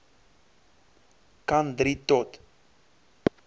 kan drie tot